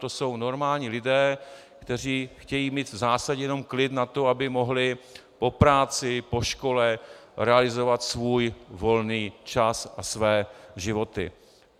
To jsou normální lidé, kteří chtějí mít v zásadě jenom klid na to, aby mohli po práci, po škole realizovat svůj volný čas a své životy.